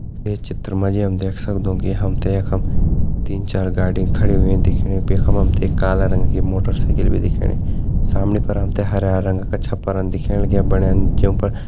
ये चित्र में हम मेजी देख सक्तों है के हम देख हम तीन चार गाड़ी खड़ी हुई दिखेली काला रंग की मोटर साइकिल भी दिखेंणी सामने पर रंग का छपरा दिखेणा। बड़ा उनके ऊपर--